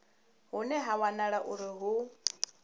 hune ha wanala uri hu